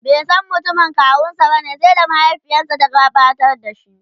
baisan mutumin kawunsa bane sai da mahaifiyarsa ta gabatar da shi